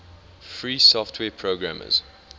free software programmers